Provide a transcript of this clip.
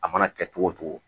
A mana kɛ cogo o cogo